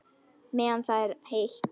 Meðan það er heitt.